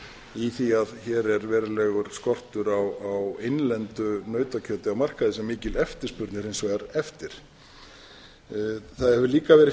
í því að hér er verulegur skortur á innlendu nautakjöti á markaði sem mikil eftirspurn er hins vegar eftir það hefur líka verið